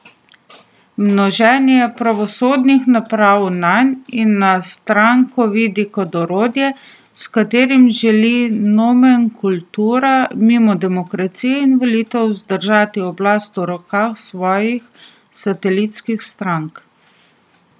Množenje pravosodnih napadov nanj in na stranko vidi kot orodje, s katerim želi nomenklatura, mimo demokracije in volitev zadržati oblast v rokah svojih satelitskih strank.